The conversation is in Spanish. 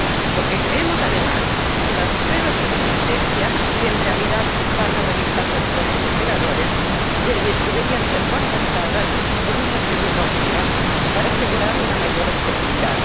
Porque creemos, además, que las pruebas de resistencia, que, en realidad, van a realizar los propios operadores, deberían ser contrastadas con una segunda opinión, para asegurar una mayor objetividad.